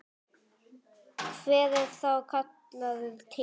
Hver er þá kallaður til?